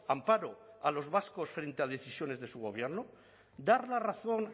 amparo a los vascos frente a decisiones de su gobierno dar la razón